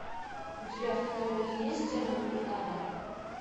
у тебя в каталоге есть демон и ада